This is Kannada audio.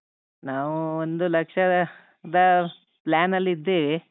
ನಾವು ಒಂದು ಲಕ್ಷದ ದ plan ಅಲ್ಲಿದ್ದೇವೆ.